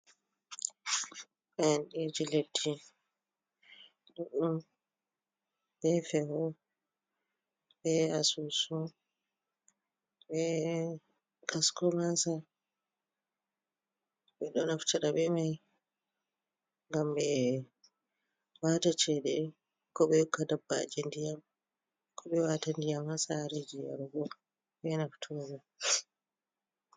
Faandiji leddi d’n befeho be asusu b gasko masa be doafcabe mai gam ba mataceda ko be yuka dabbaji diyam kobe wata diya masa harejiya rogo benaftori.